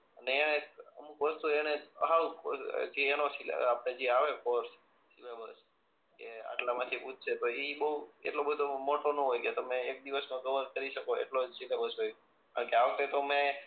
એણે અમુક વસ્તુ એણે હાવ જે એનો આપણે જે આવે કોર્સ કે આટલા માં થી પૂછશે એ મોટો ના હોય કે તમને એક દિવસ માં કવર કરી શકો એટલો જ સીલેબર હોય કારણ કે આ વખત એ તો મેં